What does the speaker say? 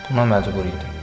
Buna məcbur idim.